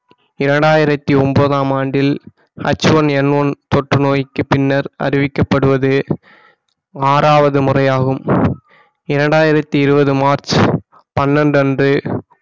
இரண்டாயிரத்தி ஒன்பதாம் ஆண்டில் HoneNone தொற்று நோய்க்கு பின்னர் அறிவிக்கப்படுவது ஆறாவது முறையாகும் இரண்டாயிரத்தி இருபது மார்ச் பன்னெண்டு அன்று